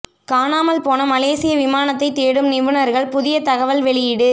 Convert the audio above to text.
காணாமல் போன மலேசிய விமானத்தை தேடும் நிபுணர்கள் புதிய தகவல் வெளியீடு